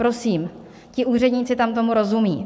Prosím, ti úředníci tam tomu rozumí.